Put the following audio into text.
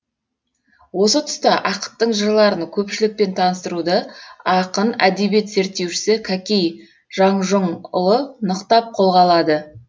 осы тұста ақыттың жырларын көпшілікпен таныстыруды ақын әдебиет зерттеушісі кәкей жаңжұңұлы нықтап қолға алады